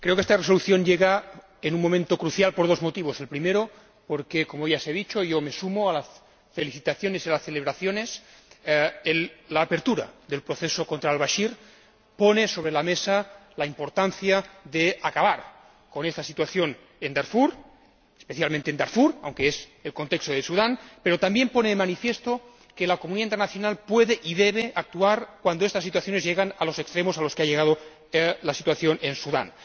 Señora Presidenta, creo que esta resolución llega en un momento crucial por dos motivos. El primero porque —como ya se ha dicho y yo me sumo a las felicitaciones y las celebraciones— la apertura del proceso contra al Bachir pone sobre la mesa la importancia de acabar con esta situación, especialmente en Darfur, aunque se refiera al contexto de Sudán, pero también porque pone de manifiesto que la comunidad internacional puede y debe actuar cuando estas situaciones llegan a los extremos a los que ha llegado la situación en Sudán.